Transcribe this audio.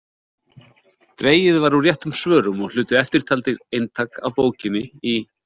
Dregið var úr réttum svörum og hlutu eftirtaldir eintak af bókinni í